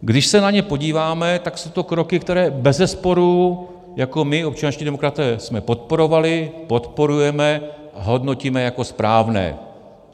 Když se na ně podíváme, tak jsou to kroky, které bezesporu my jako občanští demokraté jsme podporovali, podporujeme a hodnotíme jako správné.